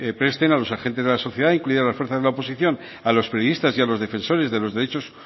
presten a los agentes de la sociedad incluidas las fuerzas de la oposición a los periodistas y a los defensores de los derechos